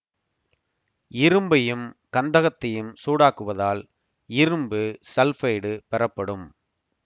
இரும்பையும் கந்தகத்தையும் சூடாக்குவதால் இரும்பு சல்ஃபைடு பெறப்படும்